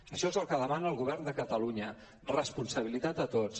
això és el que demana el govern de catalunya responsabilitat a tots